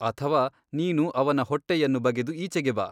ಅಥವಾ ನೀನು ಅವನ ಹೊಟ್ಟೆಯನ್ನು ಬಗೆದುಈಚೆಗೆ ಬಾ.